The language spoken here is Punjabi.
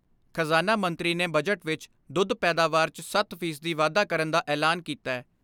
ਖਜ਼ਾਨਾ ਮੰਤਰੀ ਨੇ ਬਜਟ ਵਿਚ ਦੁੱਧ ਪੈਦਾਵਾਰ 'ਚ ਸੱਤ ਫ਼ੀ ਸਦੀ ਵਾਧਾ ਕਰਨ ਦਾ ਐਲਾਨ ਕੀਤੈ।